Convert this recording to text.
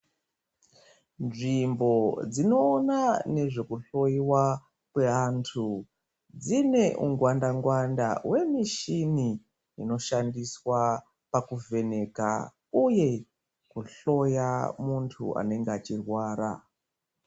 Nzvimbo dzinoona nezvekuhloyiwa kweantu dzine ungwanda ngwanda we mushini ino shandiswa pakuvheneka uye kuhloya muntu anenge achirwara.